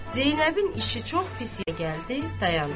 Zeynəbin işi çox pis gəldi, dayandı.